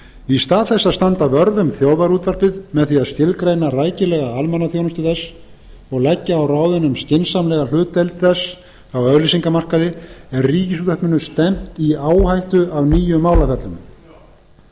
í stað þess að standa vörð um þjóðarútvarpið með því að skilgreina rækilega almannaþjónustu þess og leggja á ráðin um skynsamlega hlutdeild þess á auglýsingamarkaði er ríkisútvarpinu stefnt í áhættu af nýjum málaferlum ef